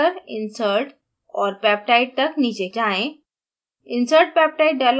build menu पर जाकर insert और peptide तक नीचे जाएँ